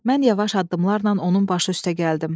Mən yavaş addımlarla onun başı üstə gəldim.